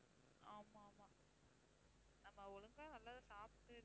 ஆமாம் ஆமாம் நாம ஒழுங்கா நல்லத சாப்பிட்டு